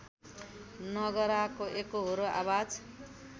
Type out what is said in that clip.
नगराको एकोहोरो आवाज